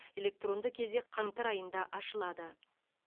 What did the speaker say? электронды кезек қаңтар айында ашылады